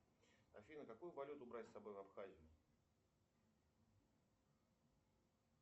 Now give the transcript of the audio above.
афина какую валюту брать с собой в абхазию